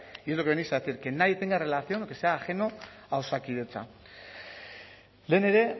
y es lo que venís a decir que nadie tenga relación o que sea ajeno a osakidetza lehen ere